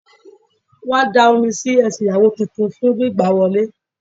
Wón á da Omi sí ẹsẹ̀ ìyàwó titun fún gbígbà á wọlé